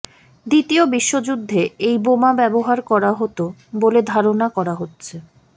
দ্বিতীয় বিশ্বযুদ্ধে এই বোমা ব্যবহার করা হতো বলে ধারণা করা হচ্ছে